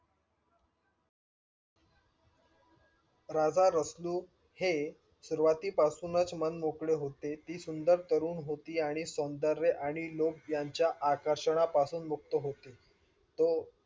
राजा रसलू हे सुरवाती पासूनच मन मोकळे होते. ती सुंदर तरुण होती. आणि सौंदर्य आणि लोभ यांच्या आकर्षणा पासून मुक्त होते. तो